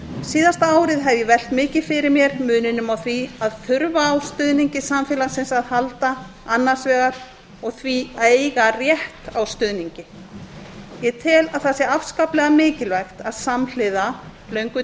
síðasta árið hef ég velt mikið fyrir mér muninum á því að þurfa á stuðningi samfélagsins að halda annars vegar og því að eiga rétt á stuðningi ég tel að það sé afskaplega mikilvægt að samhliða löngu